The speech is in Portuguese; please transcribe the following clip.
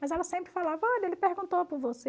Mas ela sempre falava, olha, ele perguntou para você.